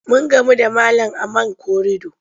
Mun gamu da malam a man korido.